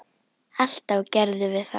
Alltaf gerðum við það.